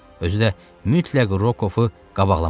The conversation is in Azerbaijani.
Özü də mütləq Rokoffu qabaqlamalı idi.